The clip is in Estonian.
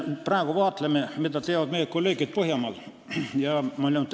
Me vaatleme praegu, mida teevad meie põhjamaade kolleegid.